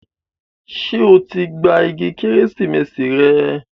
Ṣé o ti gba igi Kérésìmesì rẹ?